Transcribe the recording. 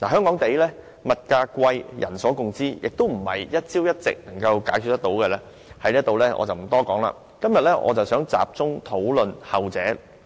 香港物價昂貴是人所共知的，並非一朝一夕便可以解決，所以我不在此多談，今天我想集中討論